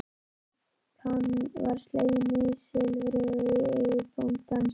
Svipan var slegin nýsilfri og í eigu bóndans.